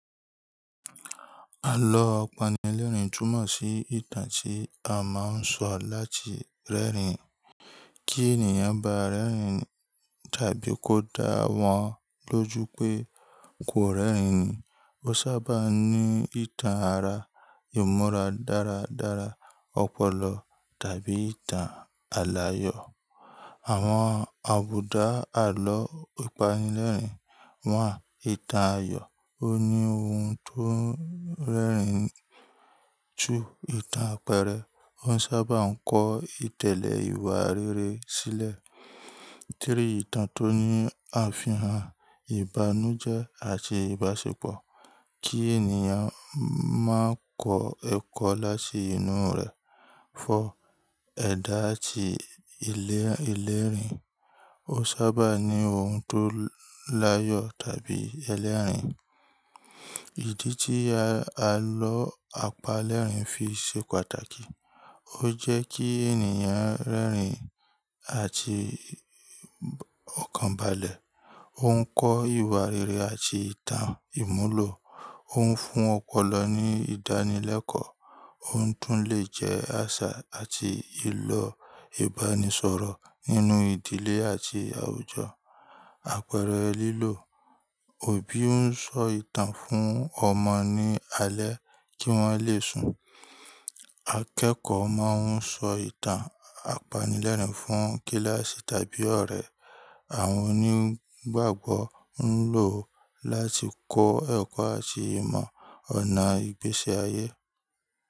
Àlọ́ àpanilẹ́rìn tùmọ̀ sí ìtàn tí a máa ń sọ láti rẹ́rìn-ín. Kí ènìyàn bá rẹ́rìn-ín tàbí kó dá wọn lójú pé kò rẹ́rìn-ín, ó sábà ní ìtàn àrà, ìmúra dára dára, ọpọlọ tàbí ìtàn aláyọ̀. Àwọn àbùdá àlọ́ àpanilẹ́rìn wa, ìtàn ayọ̀ ó ní oun tó rẹ́rìn-ín ju ìtàn àpẹẹrẹ, ó sábà ń kọ ìtẹ̀lẹ̀ ìwà rere sílẹ̀. Téri ìtàn tó ní àfihàn ìbànújẹ́ àti ìbáṣepọ̀ kí ènìyàn máa kọ ẹ̀kọ́ láti inú rẹ̀. Fọ, ẹ̀dà àti ìlérìn, ó sábà ní ohun tó láyọ̀ tàbí ẹlẹ́rìn-ín. Ìdí tí a lọ àpá lẹ́rìn fi ṣe pàtàkì, ó jẹ́ kí ènìyàn rẹ́rìn-ín àti ọ̀kan balẹ̀. Ó ń kọ́ ìwà rere àti ìtàn ìmúlò, ó ń fún ọpọlọ ní ìdánilẹ́kọ̀ọ́, ó tún lè jẹ́ àṣà àti ìlọ ìbánisọ̀rọ̀ nínú ìdílé àti àwùjọ. Àpẹẹrẹ lílò, òbí ń sọ ìtàn fún ọmọ ní alẹ́ kí wọ́n lè sùn. Akẹ́kọ̀ọ́ máa ń sọ ìtàn àpanilẹ́rìn fún kíláàsì tàbí ọ̀rẹ́. Àwọn onígbàgbọ́ ń lò ó láti kọ ẹ̀kọ́ àti mọ ọ̀nà ìgbésí ayé.